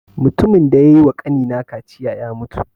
Matumin da ya yi wa ƙani na kaciya ya mutu